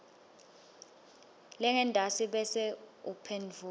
lengentasi bese uphendvula